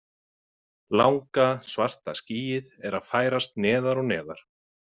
Langa, svarta skýið er að færast neðar og neðar.